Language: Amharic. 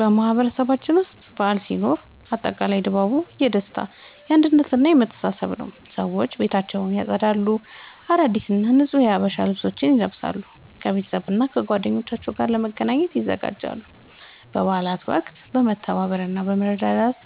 በማህበረሰባችን ውስጥ በዓል ሲኖር አጠቃላይ ድባቡ የደስታ፣ የአንድነት እና የመተሳሰብ ነዉ። ሰዎች ቤታቸውን ያጸዳሉ፣ አዳዲስ እና ንጹህ የሀበሻ ልብሶችን ይለብሳሉ፣ ከቤተሰብና ከጓደኞቻቸው ጋር ለመገናኘት ይዘጋጃሉ። በበዓላት ወቅት የመተባበር እና የመረዳዳት